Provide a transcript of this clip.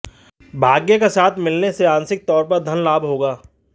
भाग्य का साथ मिलने से आंशिक तौर पर धन लाभ होगा